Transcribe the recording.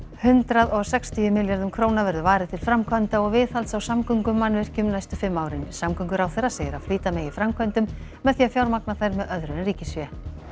hundrað og sextíu milljörðum króna verður varið til framkvæmda og viðhalds á samgöngumannvirkjum næstu fimm árin samgönguráðherra segir að flýta megi framkvæmdum með því að fjármagna þær með öðru en ríkisfé